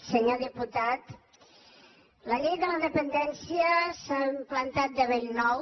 senyor diputat la llei de la dependència s’ha implantat de bell nou